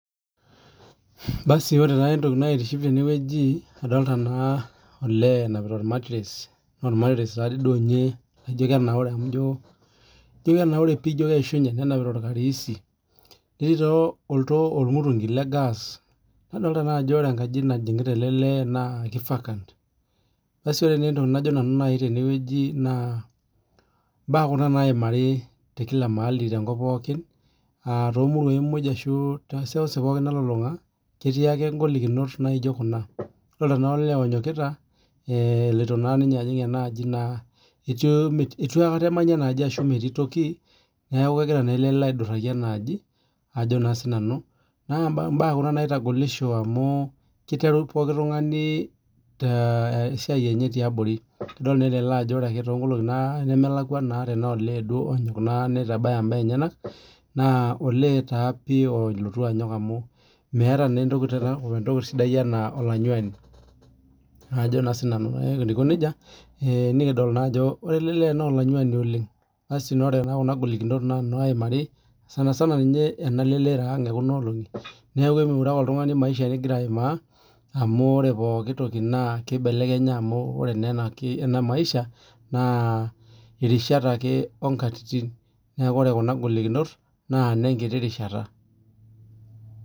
Basi ore taa entoki naitiship teneweuji adolta na olee emapita ormatires ormatires ninye amu ijo kenaura ijo keishunye netii ormutungu lorgaa nadolta naa ajo ore enkaji najingita ele lee na ki vaccant basi ore entoki najo nanu tenewueji na mbaa kunabnaimari tekila maali ashu tomuruai pokj ashu toseuseu pooki nalulunga ketii ake ngolikinot naijo kuna adolta ake ajo eonyokita itu na ninye ejing enaaji ,ituu akata emanyi enaaji amu metii toki neaku kegira ele lee aiduraki enaaji ajo na sinanu na mbaa kuna. Naitagolisho amu kiteru likae tungani tesiai enye tiabori adol ele ajo ore ake tonkolongi nemelakwa tanaa olee duo naa nitabaya mbaa enyenak na olee pii olutu anyok amu olanyuani ajo na sinanu amu ore etiu nejia nikidol naa ajo ore elee lee na olanyuani oleng nikidol ajo ore kuna golikinot na naimari sanasana enalelero aang neaku emiure ake oltungani maisha ningira aimaa amu ore poki toki na kibelekenya amu ore enamaisha na rishat ake onkatitin neaku ore kuna golikinot na nenkitu rishata.